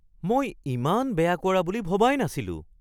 মই ইমান বেয়া কৰা বুলি ভবাই নাছিলোঁ (ছাত্ৰ)